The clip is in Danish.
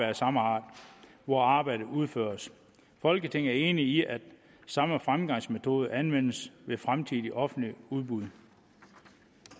af samme art hvor arbejdet udføres folketinget er enig i at samme fremgangsmetode anvendes ved fremtidige offentlige udbud